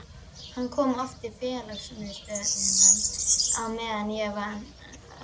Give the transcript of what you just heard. Hann kom oft í félagsmiðstöðina á meðan ég vann þar.